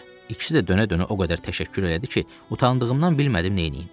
İkisi də dönə-dönə o qədər təşəkkür elədi ki, utandığımdan bilmədim neyniyim.